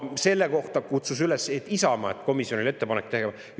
Isamaa kutsus üles juba septembrikuus, et selle kohta komisjonile ettepanek teha.